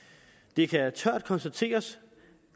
det kan tørt konstateres